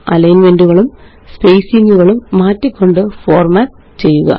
അലൈന്മെന്റുകളും സ്പേസിങ്ങുകളും മാറ്റിക്കൊണ്ട് ഫോര്മാറ്റ് ചെയ്യുക